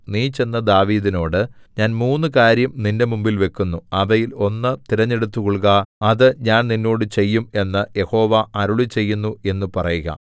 നീ ചെന്ന് ദാവീദിനോട് ഞാൻ മൂന്നു കാര്യം നിന്റെ മുമ്പിൽ വെക്കുന്നു അവയിൽ ഒന്ന് തിരഞ്ഞെടുത്തുകൊൾക അത് ഞാൻ നിന്നോട് ചെയ്യും എന്നു യഹോവ അരുളിച്ചെയ്യുന്നു എന്നു പറയുക